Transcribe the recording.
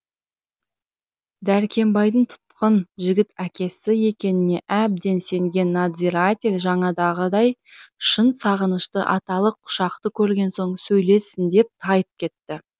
дәркембайдың тұтқын жігіт әкесі екеніне әбден сенген надзиратель жанадағыдай шын сағынышты аталық құшақты көрген соң сөйлессін деп тайып кетті